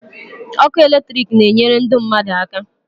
Ọkụ electric na enyere ndụ mmadụ aka